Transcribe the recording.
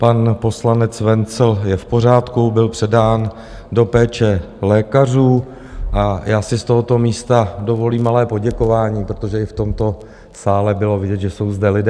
Pan poslanec Wenzl je v pořádku, byl předán do péče lékařů a já si z tohoto místa dovolím malé poděkování, protože i v tomto sále bylo vidět, že jsou zde lidé.